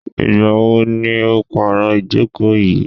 Ìgbà wo ni o pàro ìjókò yìí?